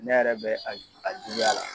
Ne yɛrɛ bɛ a ju a juguya la.